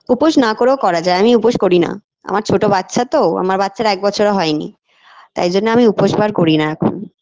উপোস না করেও করা যায় আমি উপোস করি না আমার ছোট বাচ্ছা তো আমার বাচ্ছার এক বছরও হয়নি তাই জন্য আমি উপোস আর করি না এখন